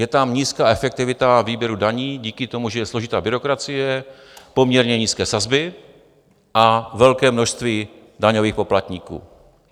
Je tam nízká efektivita výběru daní díky tomu, že je složitá byrokracie, poměrně nízké sazby a velké množství daňových poplatníků.